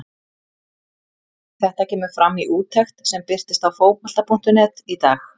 Þetta kemur fram í úttekt sem birtist á Fótbolta.net í dag.